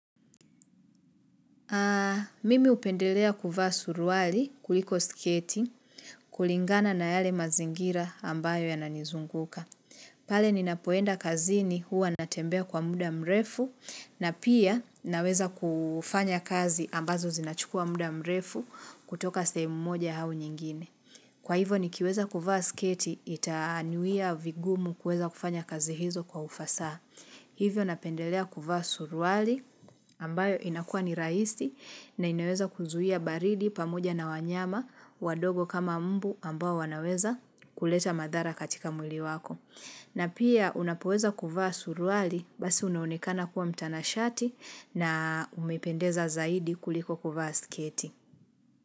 Mimi hupendelea kuvaa suruali kuliko sketi kulingana na yale mazingira ambayo yananizunguka. Pale ninapoenda kazini huwa natembea kwa muda mrefu na pia naweza kufanya kazi ambazo zinachukua muda mrefu kutoka sehemu moja au nyingine. Kwa hivyo nikiweza kuvaa sketi itanyuia vigumu kuweza kufanya kazi hizo kwa ufasaha. Hivyo napendelea kuvaa suruali ambayo inakuwa ni rahisi na inaweza kuzuia baridi pamoja na wanyama wadogo kama mbu ambao wanaweza kuleta madhara katika mwili wako. Na pia unapoweza kuvaa suruali basi unaonekana kuwa mtanashati na umependeza zaidi kuliko kuvaa sketi.